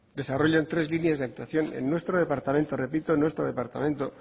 desarrollan tres líneas de actuación en nuestro departamento repito en nuestro departamento